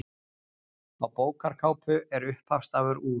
Á bókarkápu er upphafsstafur úr